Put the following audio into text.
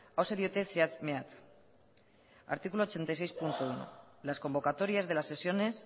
hauxe diote zehatz mehatz artículo ochenta y seis punto uno las convocatorias de las sesiones